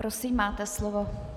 Prosím, máte slovo.